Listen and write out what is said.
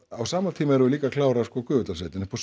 á sama tíma erum við líka að klára sko Gufudalssveitina upp á